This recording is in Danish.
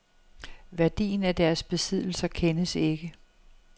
Værdien af deres besiddelser kendes ikke.